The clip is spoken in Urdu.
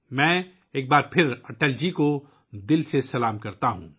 میں ایک بار پھر دل کی گہرائیوں سے اٹل جی کو سلام پیش کرتا ہوں